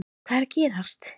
HVAÐ ER AÐ GERAST???